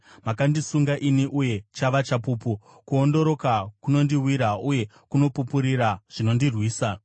Makandisunga ini, uye chava chapupu; kuondoroka kunondiwira uye kunopupurira zvinondirwisa.